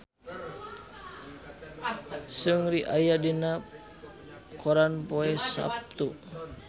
Seungri aya dina koran poe Saptu